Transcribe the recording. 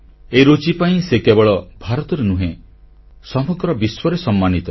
ଏହି ରୁଚି ପାଇଁ ସେ କେବଳ ଭାରତରେ ନୁହେଁ ସମଗ୍ର ବିଶ୍ୱରେ ସମ୍ମାନିତ